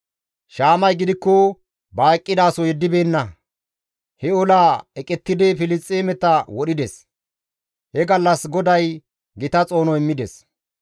Shaamay gidikko ba eqqidaso yeddibeenna; he olaa eqettidi Filisxeemeta wodhides; he gallas GODAY gita xoono immides.